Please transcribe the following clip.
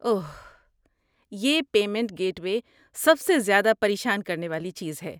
اوہ، یہ payment gateway سب سے زیادہ پریشان کرنے والی چیز ہے۔